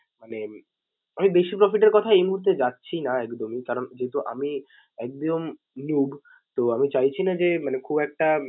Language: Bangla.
মানে আমি বেশি profit এর কথায় এই মূহুর্তে যাচ্ছি না একদমই কারণ যেহেতু আমি একদম new তো আমি চাইছি না যে খুব একটা মানে